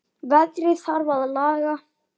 Veðrið þarf að laga.